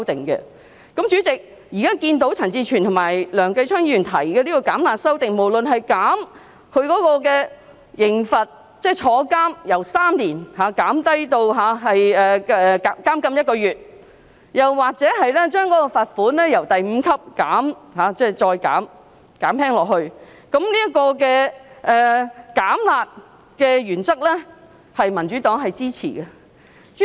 代理主席，現在看到陳志全議員及梁繼昌議員提出具"減辣"效果的修正案，無論是減低刑罰，即由監禁3年減至1個月，或將第5級罰款減輕，對於"減辣"的原則，民主黨是支持的。